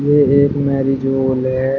ये एक marriage hall है।